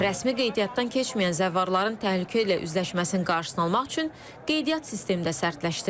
Rəsmi qeydiyyatdan keçməyən zəvvarların təhlükə ilə üzləşməsinin qarşısını almaq üçün qeydiyyat sistemi də sərtləşdirilib.